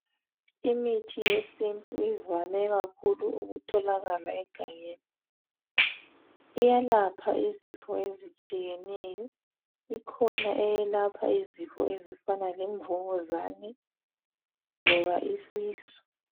Imithi yesintu ivame kakhulu ukutholakala egangeni. Iyalapha izifo ezitshiyeneyo ikhona eyelapha izifo ezifana lemvukuzane loba isisu.